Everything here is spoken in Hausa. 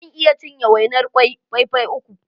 Zan iya cinye wainar kwai fai fai uku.